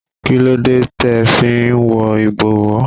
Kí ló dé tẹ fi wọ ibowo?